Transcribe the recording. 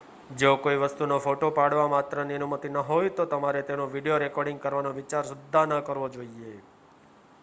જો કોઈ વસ્તુનો ફોટો પાડવા માત્રની અનુમતિ ન હોય તો તમારે તેનું વિડિયો રેકૉર્ડિંગ કરવાનો વિચાર સુદ્ધાં ન કરવો જોઈએ